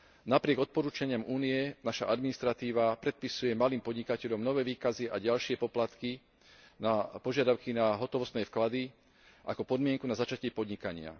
Napriek odporúčaniam Únie naša administratíva predpisuje malým podnikateľom nové výkazy a ďalšie poplatky, požiadavky na hotovostné vklady ako podmienku na začatie podnikania.